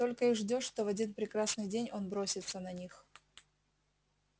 только и ждёшь что в один прекрасный день он бросится на них